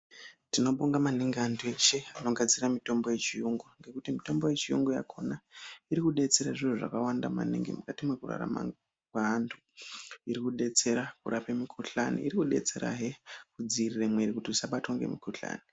Tinobonga maningi antu eshe anogadzira mitombo yechiyungu ngekuti mitombo yechiyungu yakona iri kudetsera zviro zvakawanda maningi mukati mekurarama kweantu iri kudetsera kurapa mikuhlani iri kudetserahe kudzivirira miri isabatwa nemikuhlani.